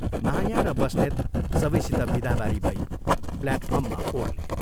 माया र बस्नेत सबैसित विदाबारी भई प्ल्याटफार्ममा ओर्ले।